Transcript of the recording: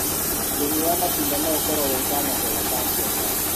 ũrĩmi wa matunda no ũkorwo wĩ kanya kega ga biashara